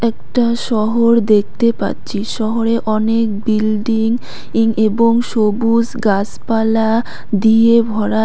একটা শহর দেখতে পাচ্ছি শহরে অনেক বিল্ডিং ইং এবং সবুজ গাসপালা দিয়ে ভরা।